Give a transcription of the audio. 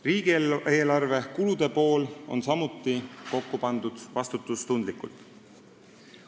Riigieelarve kulude pool on samuti kokku pandud vastutustundlikult.